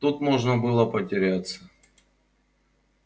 тут можно было потеряться